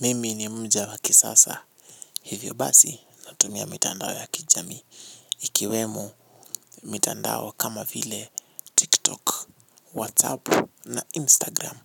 Mimi ni mja wa kisasa. Hivyo basi natumia mitandao ya kijamii. Ikiwemo mitandao kama vile TikTok, WhatsApp na Instagram.